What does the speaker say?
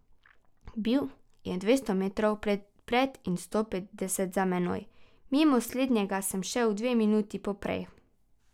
Bil je dvesto metrov pred in sto petdeset za menoj, mimo slednjega sem šel dve minuti poprej.